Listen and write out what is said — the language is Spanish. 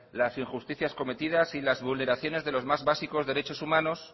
las injusticias cometidas y las vulneraciones de los más básicos derechos humanos